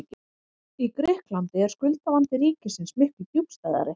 Í Grikklandi er skuldavandi ríkisins miklu djúpstæðari.